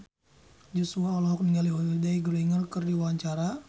Joshua olohok ningali Holliday Grainger keur diwawancara